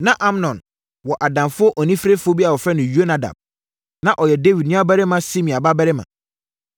Na Amnon wɔ adamfo oniferefoɔ bi a wɔfrɛ no Yonadab. Na ɔyɛ Dawid nuabarima Simea babarima.